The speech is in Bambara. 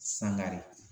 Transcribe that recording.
Sangare